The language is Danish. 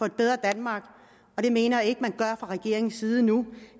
et bedre danmark og det mener jeg ikke man gør fra regeringens side nu